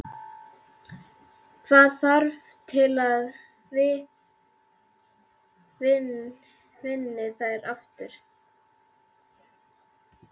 Hvað þarf til að þið vinnið þær aftur?